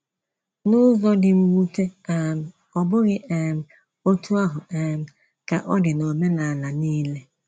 N’ụzọ dị mwute um, ọ bụghị um otú ahụ um ka ọ dị n’ọmenala nile.